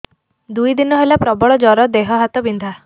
ଦୁଇ ଦିନ ହେଲା ପ୍ରବଳ ଜର ଦେହ ହାତ ବିନ୍ଧା